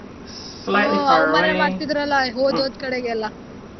ಹು ಅವಮಾನ ಮಾಡತಿದ್ರಲ್ಲ ಹೋದ್ ಹೋದ್ ಕಡೆ ಎಲ್ಲ.